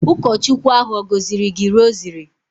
Ụkọchukwu ahụ ọ̀ gọziri gị rosary?